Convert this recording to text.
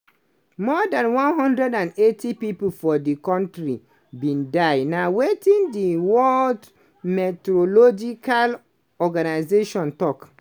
more dan 180 pipo for di kontri bin die na wetin di world meteorological organization tok.